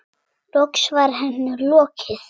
Loks var henni lokið.